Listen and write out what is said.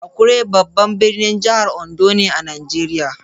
Akure babban birnin jihar Ondo ne a Najeriya.